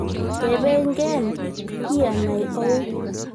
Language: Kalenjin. tebengen:ki anae au?